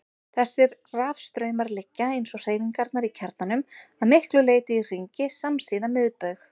Þessir rafstraumar liggja, eins og hreyfingarnar í kjarnanum, að miklu leyti í hringi samsíða miðbaug.